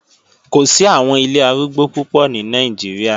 Kò sí àwọn ilé arúgbó púpọ̀ ní Nàìjíríà